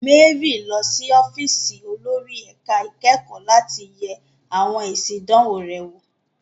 Mary ń lọ sí ọ́fíìsì olórí ẹ̀ka ìkẹ́kọ̀ọ́ láti yẹ àwọn èsì ìdánwò rẹ̀ wò.